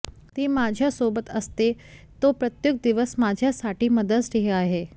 ती माझ्यासोबत असते तो प्रत्येक दिवस माझ्यासाठी मदर्स डे आहे